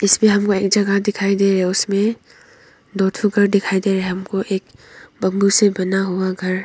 इसमें हमको एक जगह दिखाई दे रही है उसमें दो ठो घर दिखाई दे रहा है हमको एक बाम्बू से बना हुआ घर।